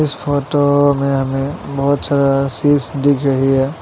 Photo में हमें बहोत सारा सीस दिख रही है।